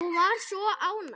Hún var svo ánægð.